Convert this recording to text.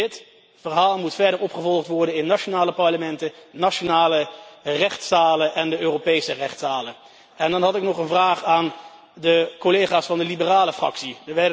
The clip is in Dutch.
Dit verhaal moet verder opgevolgd worden in nationale parlementen, nationale rechtszalen en Europese rechtszalen. Dan heb ik nog een vraag aan de collega's van de liberale fractie.